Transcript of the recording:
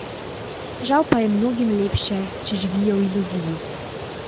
Žal pa je mnogim lepše, če živijo v iluziji.